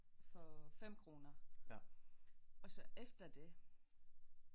For 5 kroner og så efter det